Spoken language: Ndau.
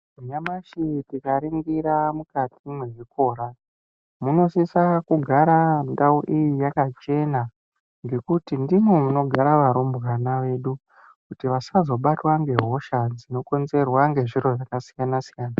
Nyamashi tikaringira mwukati mwezvikora, munosisa kugara ndau iyi yakachena ngekuti ndimwo munogara varumbwana vedu kuti vasazobatwa ngehosha dzinokonzerwa ngezviro zvakasiyana siyana.